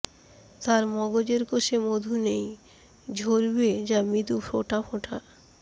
তার মগজের কোষে মধু নেই ঝরবে যা মৃদু ফোঁটা ফোঁটা